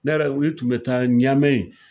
Ne yɛrɛ ye i tun bɛ taa ɲame